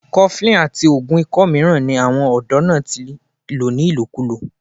cuffling àti oògùn ikọ́ mìíràn ni àwọn ọ̀dọ́ náà ti lò ni lòkúlò